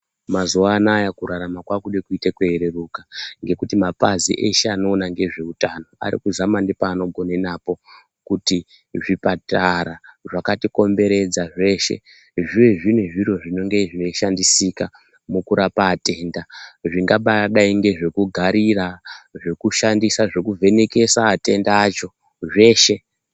Mazuwa anaya kurarama kwakude kuita kweireruka ngekuti mapazi eshe anoona ngezveutano ari kuzama nepaanogone napo kuti zvipatara zcakati komberedza zveshe zviwe zviri zviro zvinonge zvinoshandisika mukurape atenda zvingabadai ngezvekugarira zvekushandisa zvekuzvenekesa atenda acho zveshe.